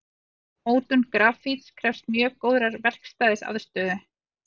Mótun grafíts krefst mjög góðrar verkstæðisaðstöðu.